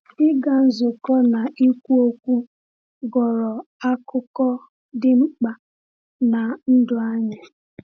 Ịga nzukọ na ikwu okwu ghọrọ akụkụ dị mkpa n’ndụ anyị.